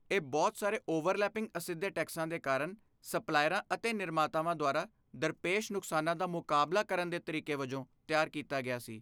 ਇਹ ਬਹੁਤ ਸਾਰੇ ਓਵਰਲੈਪਿੰਗ ਅਸਿੱਧੇ ਟੈਕਸਾਂ ਦੇ ਕਾਰਨ ਸਪਲਾਇਰਾਂ ਅਤੇ ਨਿਰਮਾਤਾਵਾਂ ਦੁਆਰਾ ਦਰਪੇਸ਼ ਨੁਕਸਾਨਾਂ ਦਾ ਮੁਕਾਬਲਾ ਕਰਨ ਦੇ ਤਰੀਕੇ ਵਜੋਂ ਤਿਆਰ ਕੀਤਾ ਗਿਆ ਸੀ।